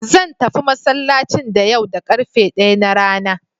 Zan tafi masallacin da yau da ƙarfe ɗaya na rana.